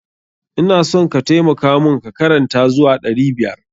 Ina son ka taimaka mun ka karanta zuwa ɗari biyar.